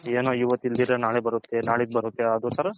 ಏನೋ ಇವತ್ ಇಲ್ದಿರೆ ನಾಳೆ ಬರುತ್ತೆ ನಲ್ಲಿದ್ ಬರುತ್ತೆ ಅದೊಂತರ